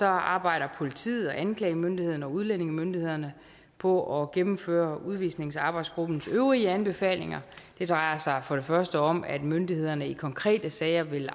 arbejder politiet og anklagemyndigheden og udlændingemyndighederne på at gennemføre udvisningsarbejdsgruppens øvrige anbefalinger det drejer sig for det første om at myndighederne i konkrete sager vil